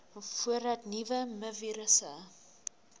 voordat nuwe mivirusse